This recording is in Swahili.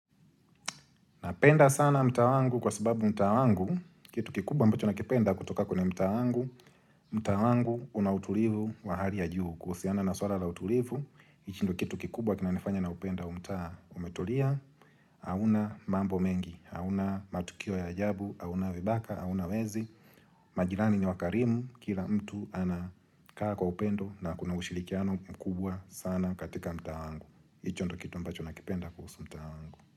Napenda sana mtaa wangu kwa sababu mtaa wangu, kitu kikubwa ambacho nakipenda kutoka kwenye mtaa wangu, mtaa wangu kuna utulivu wa hali ya juu kuhusiana na swala la utulivu. Hii indo kitu kikubwa kinanifanya naupenda huu mtaa umetulia, hauna mambo mengi, hauna matukio ya ajabu, hauna vibaka, hauna wezi. Majirani ni wakarimu, kila mtu anakaa kwa upendo na kuna usirikiano mkubwa sana katika mta wangu. Hicho ndo kitu ambacho nakipenda kuhusu mtaa wangu.